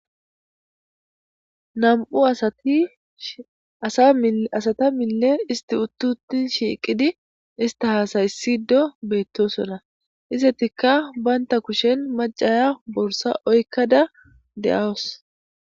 Nam'u asati asa asata mille utiuti shiqidi ista hasayisido betosona izetika banta kushen macasiya borisa oyikada dea'usu.